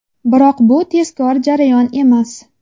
Biroq bu tezkor jarayon emas.